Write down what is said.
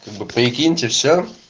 прикиньте всё